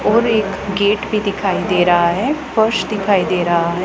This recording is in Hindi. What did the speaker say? और एक गेट भी दिखाई दे रहा है फर्श दिखाई दे रहा है।